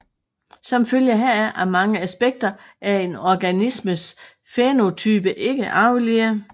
Som følge heraf er mange aspekter af en organismes fænotype ikke arvelige